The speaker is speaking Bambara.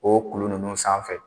O kulu ninnu sanfɛ.